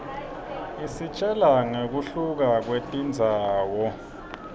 isitjela nqekuhluka kwetindzawo